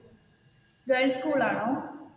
Girls school ആണോ?